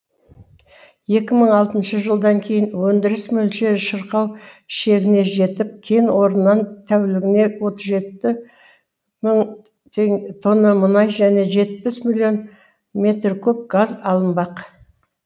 екі мың алтыншы жылдан кейін өндіріс мөлшері шырқау шегіне жетіп кен орнынан тәулігіне отыз жеті мың тонна мұнай және жетпіс миллион метр куб газ алынбақ